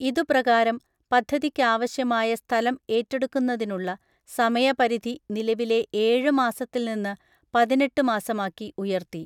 ഇതുപ്രകാരം, പദ്ധതിക്കാവശ്യമായ സ്ഥലംഏറ്റെടുക്കുന്നതിനുള്ള സമയ പരിധി നിലവിലെ ഏഴ് മാസത്തിൽ നിന്ന് പതിനെട്ട് മാസമാക്കി ഉയർത്തി .